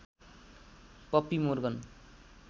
puppy Morgan